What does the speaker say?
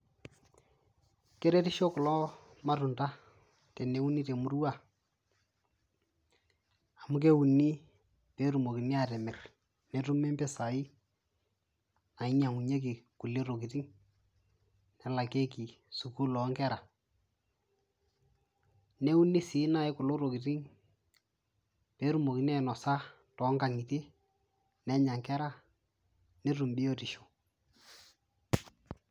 keretisho kulo matunda teneuni temurua amu keuni petumokini atimirr netumi mpisai nainyiang'unyieki kulie tokiting nelakieki sukul onkera neuni sii naaji kulo tokitin petumokin ainosa tonkang'itie nenya inkera netum biotisho.